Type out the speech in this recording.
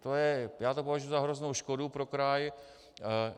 Já to považuji za hroznou škodu pro kraj.